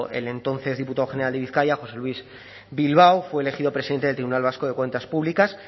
el entonces diputado general de bizkaia josé luis bilbao fue elegido presidente del tribunal vasco de cuentas públicas